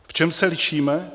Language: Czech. V čem se lišíme?